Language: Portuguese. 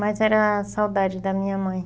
Mais era a saudade da minha mãe.